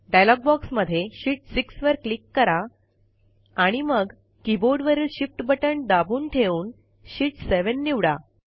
dialogue बॉक्समध्ये sheet 6 वर click करा आणि मग कीबोर्डवरील शिफ्ट बटण दाबून ठेवून शीत 7 निवडा